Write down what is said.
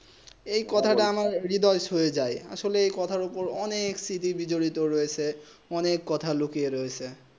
এই কথা তা আমার হৃদয়ে সয়ে যায় আসলে এই কথা তা অনেক সতিহী বিজড়িত রযেছে অনেক কথা লুকিয়ে রয়েছে